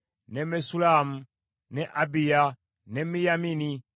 ne Messulamu, ne Abiya, ne Miyamini,